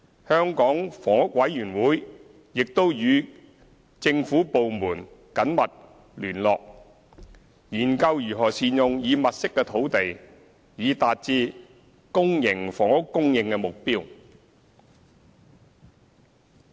香港房屋委員會亦與政府部門緊密聯絡，研究如何善用已物色的土地，以達至公營房屋供應目標。